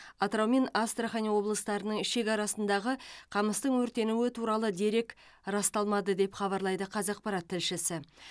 атырау мен астрахан облыстарының шекарасындағы қамыстың өртенуі туралы дерек расталмады деп хабарлайды қазақпарат тілшісі